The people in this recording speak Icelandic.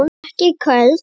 Ekki köld.